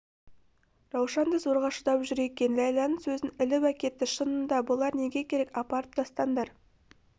раушан да зорға шыдап жүр екен ләйләнің сөзін іліп әкетті шынында бұлар неге керек апарып тастаңдар